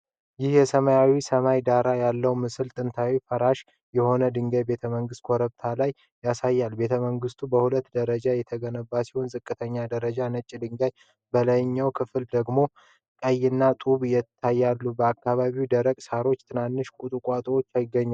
ይህ የሰማያዊ ሰማይ ዳራ ያለው ምስል ጥንታዊና ፈራሽ የሆነ የድንጋይ ቤተመንግስት ኮረብታ ላይ ያሳያል። ቤተመንግስቱ በሁለት ደረጃዎች የተገነባ ሲሆን፣ ዝቅተኛው ደረጃ ነጭ ድንጋይ፣ በላይኛው ክፍል ደግሞ ቀይማ ጡብ ይታያል፤ በአካባቢው ደረቅ ሳሮችና ትናንሽ ቁጥቋጦዎች ይገኛሉ።